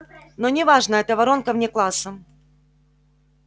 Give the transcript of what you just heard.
но не важно это воронка вне класса